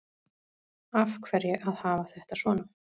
Af hverju að hafa þetta svona